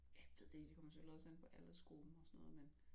Jeg ved det det kommer vel selvfølgelig også an på aldersgruppen og sådan noget men